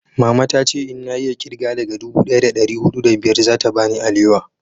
mama ta ce in na iya kirga daga dubu daya da dari hudu da biyar za ta bani alewa